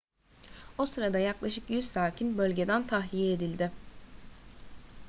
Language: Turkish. o sırada yaklaşık 100 sakin bölgeden tahliye edildi